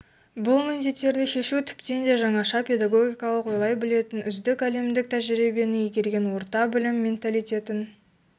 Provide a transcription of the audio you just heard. бұл міндеттерді шешу тіптен де жаңаша педагогикалық ойлай білетін үздік әлемдік тәжірибені игерген орта білім менталитетін